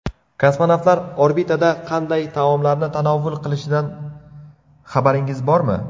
Kosmonavtlar orbitada qanday taomlarni tanovul qilishidan xabaringiz bormi?